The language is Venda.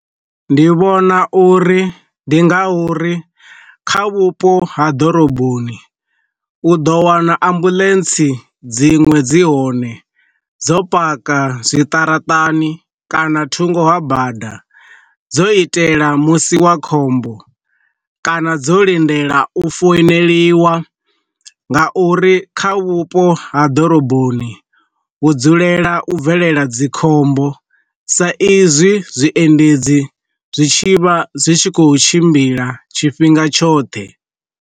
Ndi vhona uri ndi nga uri, kha vhupo ha ḓoroboni u ḓo wana ambuḽentsi dziṅwe dzi hone dzo paka zwiṱaraṱani kana thungo ha bada dzo itela musi wa khombo kana dzo lindela u founeliwa nga uri kha vhupo ha ḓoroboni hu dzulela u bvelela dzikhombo sa izwi zwiendedzi zwi tshivha zwi tshi kho tshimbila tshifhinga tshoṱhe.